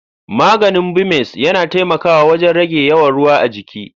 Maganin Bumez yana taimakawa wajen rage yawan ruwa a jiki.